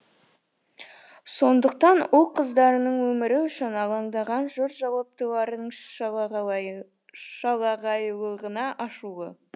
сондықтан ұл қыздарының өмірі үшін алаңдаған жұрт жауаптылардың шалағайлығына ашулы